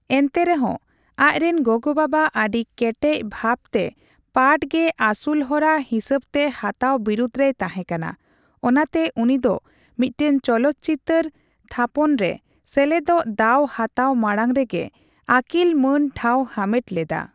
ᱮᱱᱛᱮᱨᱮᱦᱚᱸ, ᱟᱡᱨᱮᱱ ᱜᱚᱜᱚᱼᱵᱟᱵᱟ ᱟᱹᱰᱤ ᱠᱮᱴᱮᱡ ᱵᱷᱟᱵᱽᱛᱮ ᱯᱟᱴᱷ ᱜᱮ ᱟᱥᱩᱞᱦᱚᱨᱟ ᱦᱤᱥᱟᱹᱵᱽᱛᱮ ᱦᱟᱛᱟᱣ ᱵᱤᱨᱩᱫᱷ ᱨᱮᱭ ᱛᱟᱦᱮᱸᱠᱟᱱᱟᱼᱚᱱᱟᱛᱮ ᱩᱱᱤ ᱫᱚ ᱢᱤᱫᱴᱟᱝ ᱪᱚᱞᱚᱛᱪᱤᱛᱟᱹᱨ ᱛᱷᱟᱯᱚᱱᱨᱮ ᱥᱮᱞᱮᱫᱚᱜ ᱫᱟᱣ ᱦᱟᱛᱟᱣ ᱢᱟᱲᱟᱝ ᱨᱮᱜᱮ ᱟᱹᱠᱤᱞ ᱢᱟᱹᱱ ᱴᱷᱟᱸᱣ ᱦᱟᱢᱮᱴ ᱞᱮᱫᱟ ᱾